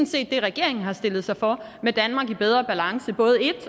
set det regeringen har sat sig for med et danmark i bedre balance både i